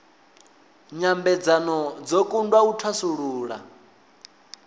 nyambedzano dzo kundwa u thasulula